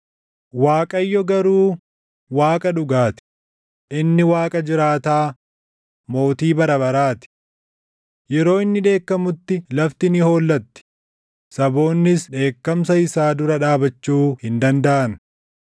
Waaqayyo garuu Waaqa dhugaa ti; inni Waaqa jiraataa, Mootii bara baraa ti. Yeroo inni dheekkamutti lafti ni hollatti; saboonnis dheekkamsa isaa dura dhaabachuu hin dandaʼan.